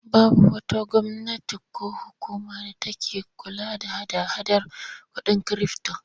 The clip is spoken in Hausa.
Babu wata gwamnati ko hukuma da take kula da hada-hadar kuɗin kirifto.